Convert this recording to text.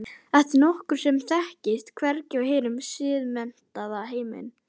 Þetta er nokkuð sem þekkist hvergi í hinum siðmenntaða heimi.